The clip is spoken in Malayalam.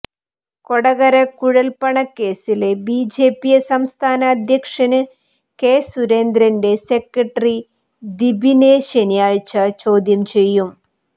കൊടകര കുഴല്പ്പണ കേസില് ബിജെപി സംസ്ഥാന അധ്യക്ഷന് കെ സുരേന്ദ്രന്റെ സെക്രട്ടറി ദിപിനെ ശനിയാഴ്ച്ച ചോദ്യം ചെയ്യും